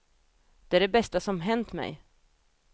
Det är det bästa som hänt mig.